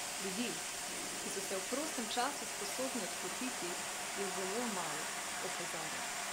Ljudi, ki so se v prostem času sposobni odklopiti, je zelo malo, opozarja.